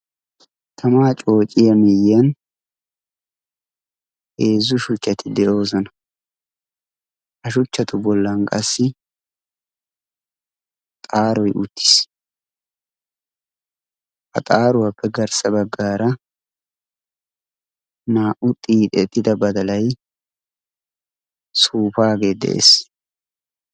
Tamaa coociya miiyyiyan eezzu shuchchati de'oosona. ha shuchchatu bollan qassi xaaroi uttiis ha xaaruwaappe garssa baggaara naa"u xiixettida badalay suufaagee de'ees.